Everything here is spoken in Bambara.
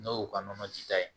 N'o y'o ka nɔnɔ ji ta ye